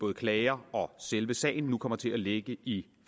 klager og selve sagen nu kommer til at ligge i